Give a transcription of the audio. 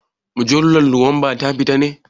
Mujallar nowamba ta fito ne?